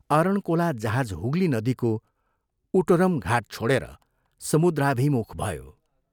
अरणकोला जहाज हुगली नदीको ' उटरम ' घाट छोडेर समुद्राभिमुख भयो।